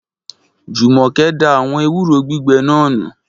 Jumoke da àwọn ewúro gbígbẹ náà nù